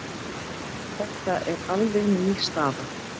Þetta er alveg ný staða.